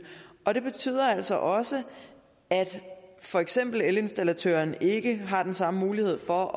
og det betyder altså også at for eksempel elinstallatøren ikke har den samme mulighed for